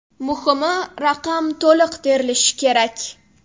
Muhimi: raqam to‘liq terilishi kerak.